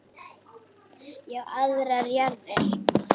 Ég á aðrar jarðir.